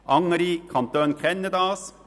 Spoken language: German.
Andere Kantone kennen das: